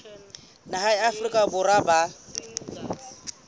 naha ya afrika borwa ba